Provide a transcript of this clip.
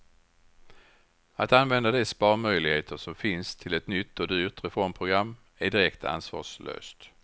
Att använda de sparmöjligheter som finns till ett nytt och dyrt reformprogram är direkt ansvarslöst.